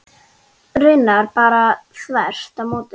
Raunar bara þvert á móti.